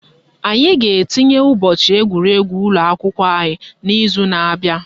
Anyị ga-etinye ụbọchị egwuregwu ụlọakwụkwọ anyị n'izu na abịa